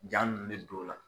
Jaa nunnu bɛ don o la.